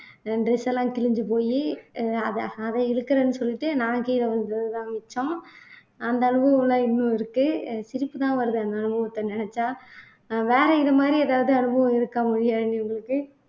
என் dress எல்லாம் கிழிஞ்சு போயி அஹ் அதை அதை இழுக்கிறேன்னு சொல்லிட்டு நான் கீழே விழுந்ததுதான் மிச்சம் அந்த அனுபவமெல்லாம் இன்னும் இருக்கு அஹ் சிரிப்புதான் வருது அந்த அனுபவத்தை நினைச்சா அஹ் வேற இது மாதிரி ஏதாவது அனுபவம் இருக்கா மொழியாழினி உங்களுக்கு